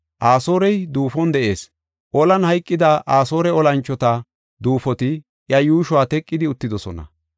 “Asoorey duufon de7ees. Olan hayqida Asoore olanchota duufoti iya yuushuwa teqidi uttidosona.